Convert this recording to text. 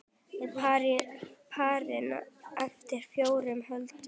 Á parinu eftir fjórar holur.